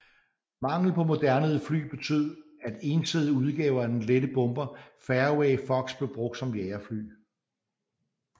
Manglen på moderne fly betød at ensædede udgaver af den lette bomber Fairey Fox blev brugt som jagerfly